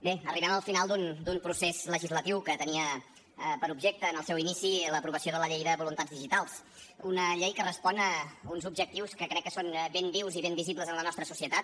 bé arribem al final d’un procés legislatiu que tenia per objecte en el seu inici l’aprovació de la llei de voluntats digitals una llei que respon a uns objectius que crec que són ben vius i ben visibles en la nostra societat